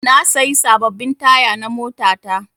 Na sayi sababbin taya na mota ta